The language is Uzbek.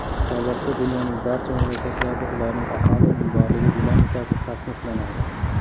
Hisobotda dunyoning barcha mamlakatlarida ularning aholi unumdorligi dinamikasi tasniflanadi.